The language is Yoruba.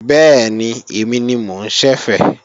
Bẹ́ẹ̀ni, èmi ni mo ń ṣẹ̀fẹ̀